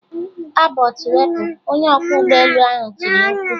Abort wepụ! Onye ọkwọ ụgbọelu ahụ tiri mkpu.